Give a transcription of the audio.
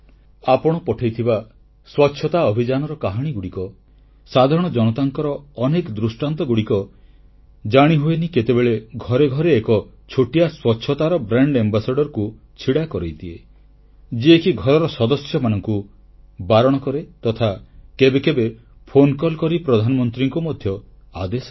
ଆପଣ ପଠାଇଥିବା ସ୍ୱଚ୍ଛତା ଅଭିଯାନର କାହାଣୀଗୁଡ଼ିକ ସାଧାରଣ ଜନତାଙ୍କର ଅନେକ ଦୃଷ୍ଟାନ୍ତ ଜାଣିହୁଏନି କେତେବେଳେ ଘରେ ଘରେ ଏକ ଛୋଟିଆ ସ୍ୱଚ୍ଛତାର ବ୍ରାଣ୍ଡ ଆମ୍ବାସଡରକୁ ଛିଡ଼ା କରାଇଦିଏ ଯିଏକି ଘରର ସଦସ୍ୟମାନଙ୍କୁ ବାରଣ କରେ ତଥା କେବେ କେବେ ଫୋନ କଲ୍ କରି ପ୍ରଧାନମନ୍ତ୍ରୀଙ୍କୁ ମଧ୍ୟ ଆଦେଶ ଦିଏ